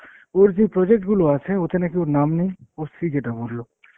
ওর যে project গুলো আছে ওতে নাকি ওর নাম নেই, ওর স্ত্রী যেটা বললো।